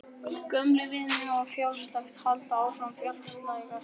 Gömlu vinirnir hafa fjarlægst og halda áfram að fjarlægjast.